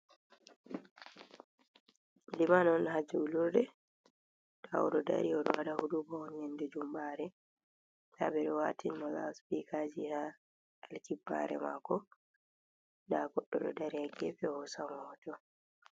Liman on ha julurde oɗo dari oɗowaɗa huduba on nyannde jumbare, nda ɓeɗo watinimo laspikaji ha alkibbare mako, nda goɗɗo ɗo dari ha gefe hosamo hoto.